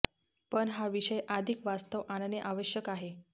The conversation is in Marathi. पण हा विषय अधिक वास्तव आणणे आवश्यक आहे